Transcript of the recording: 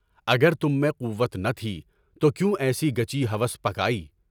اگر تم میں قوت نہ تھی تو کیوں ایسی گچی ہوس پکائی؟